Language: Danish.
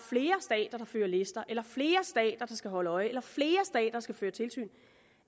fører lister eller flere stater der skal holde øje eller flere stater der skal føre tilsyn